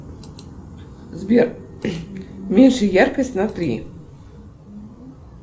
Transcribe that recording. сбер меньше яркость на три